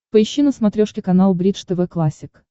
поищи на смотрешке канал бридж тв классик